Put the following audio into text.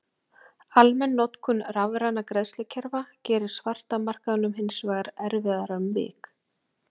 Almenn notkun rafrænna greiðslukerfa gerir svarta markaðnum hins vegar erfiðara um vik.